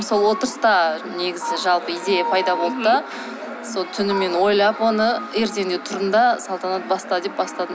сол отырыста негізі жалпы идея пайда болды да сол түнімен ойлап оны ертеңінде тұрдым да салтанат баста деп бастадым